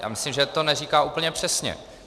Já myslím, že to neříká úplně přesně.